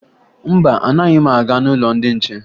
Mba, anaghị m aga n'ụlọ ndị nche